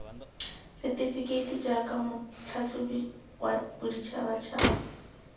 setefekeiti jaaka motlhatlhobi wa boditšhabatšhaba